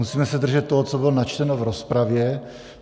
Musíme se držet toho, co bylo načteno v rozpravě.